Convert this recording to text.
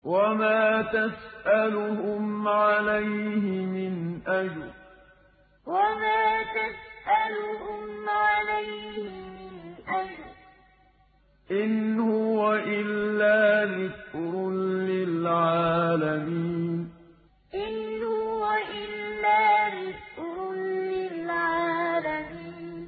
وَمَا تَسْأَلُهُمْ عَلَيْهِ مِنْ أَجْرٍ ۚ إِنْ هُوَ إِلَّا ذِكْرٌ لِّلْعَالَمِينَ وَمَا تَسْأَلُهُمْ عَلَيْهِ مِنْ أَجْرٍ ۚ إِنْ هُوَ إِلَّا ذِكْرٌ لِّلْعَالَمِينَ